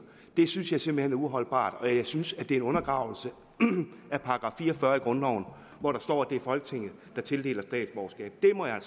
det synes jeg simpelt hen er uholdbart og jeg synes at det er en undergravelse af § fire og fyrre i grundloven hvor der står at det er folketinget der tildeler statsborgerskab det må jeg